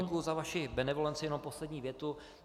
Děkuji za vaši benevolenci, jen poslední větu.